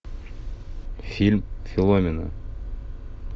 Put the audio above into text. фильм филомена